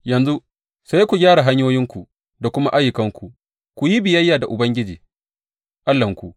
Yanzu sai ku gyara hanyoyinku da kuma ayyukanku ku yi biyayya da Ubangiji Allahnku.